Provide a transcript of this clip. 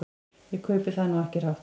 Ég kaupi það nú ekki hrátt.